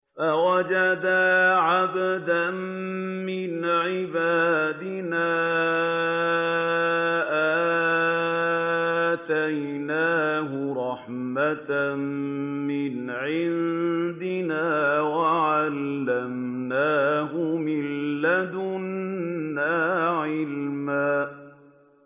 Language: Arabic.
فَوَجَدَا عَبْدًا مِّنْ عِبَادِنَا آتَيْنَاهُ رَحْمَةً مِّنْ عِندِنَا وَعَلَّمْنَاهُ مِن لَّدُنَّا عِلْمًا